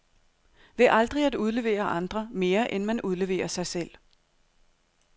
Ved aldrig at udlevere andre, mere end man udleverer sig selv.